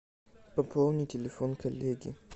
пополни телефон коллеги